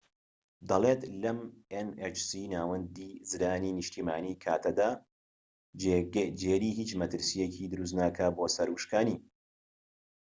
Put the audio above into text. ناوەندی زرانی نیشتیمانی‎ nhc ‎دەڵێت لەم کاتەدا جێری هیچ مەترسیەکی دروست نکات بۆ سەر وشکانی